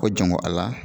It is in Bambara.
Ko janko ala